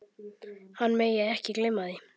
Hann megi ekki gleyma því.